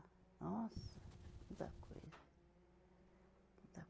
Nossa, muita coisa. Muita